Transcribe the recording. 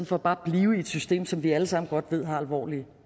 for bare at blive i et system som vi alle sammen godt ved har alvorlige